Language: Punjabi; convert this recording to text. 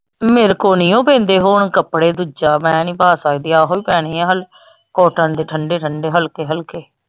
ਮੇਰੇ ਕੋ ਨਹੀਂ ਓ ਪੈਂਦੇ ਹੁਣ ਕਪੜੇ ਦੂਜਾ ਮੈਂ ਨਹੀਂ ਪਾ ਸਕਦੀ ਆਹੋ ਹੀ ਪੈਣੇ ਹਲ cotton ਦੇ ਠੰਡੇ ਠੰਡੇ ਹਲਕੇ ਹਲਕੇ।